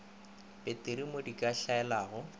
peteri mo di ka hlaelelago